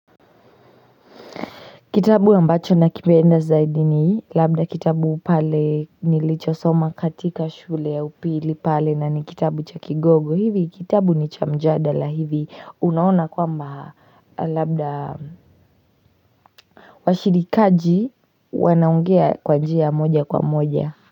Kitabu ambacho nakipenda zaidi ni labda kitabu pale nilicho soma katika shule ya upili pale na ni kitabu cha kigogo hivi kitabu ni cha mjadala hivi unaona kwamba labda washirikaji wanaongea kwa njia moja kwa moja.